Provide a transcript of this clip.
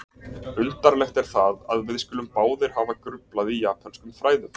Undarlegt er það, að við skulum báðir hafa gruflað í japönskum fræðum